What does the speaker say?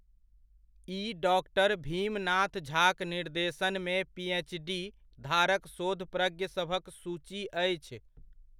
ई डॉ. भीमनाथ झाक निर्देशनमे पी.एच.डी. धारक शोधप्रज्ञसभक सूची अछि।